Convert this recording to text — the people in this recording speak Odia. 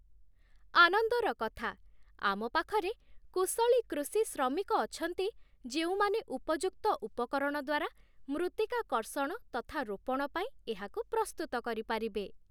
ଆନନ୍ଦର କଥା, ଆମ ପାଖରେ କୁଶଳୀ କୃଷି ଶ୍ରମିକ ଅଛନ୍ତି ଯେଉଁମାନେ ଉପଯୁକ୍ତ ଉପକରଣ ଦ୍ୱାରା ମୃତ୍ତିକା କର୍ଷଣ ତଥା ରୋପଣ ପାଇଁ ଏହାକୁ ପ୍ରସ୍ତୁତ କରିପାରିବେ।